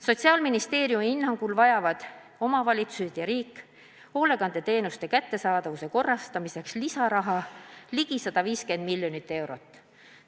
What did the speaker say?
Sotsiaalministeeriumi hinnangul vajavad omavalitsused ja riik hoolekandeteenuste kättesaadavuse parandamiseks lisaraha ligi 150 miljonit eurot.